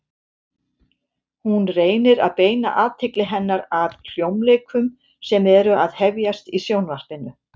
Hún reynir að beina athygli hennar að hljómleikum sem eru að hefjast í Sjónvarpinu.